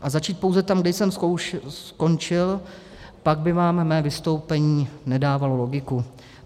A začít pouze tam, kde jsem skončil, pak by vám mé vystoupení nedávalo logiku.